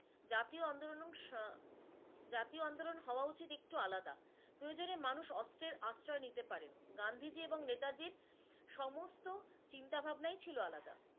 জাতীয় আন্দোলন অংশ জাতীয় আন্দোলন হওয়া উচিত একটু আলাদা প্রয়োজনে মানুষ অস্ত্রের আশ্রয় নিতে পারেন, গান্ধীজী এবং নেতাজির সমস্ত চিন্তাভাবনাই ছিলো আলাদা